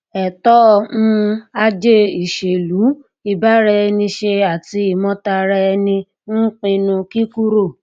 ẹtọ um ajé ìṣèlú ìbáraẹniṣe àti ìmòtara ẹni ń pinnu kíkúrò